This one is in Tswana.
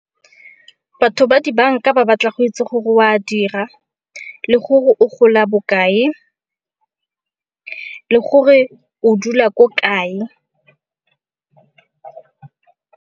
Batho ba di banka ba batla go itse gore oa dira, le gore o gola bokae le gore o dula ko kae.